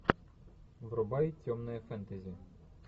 врубай темное фэнтези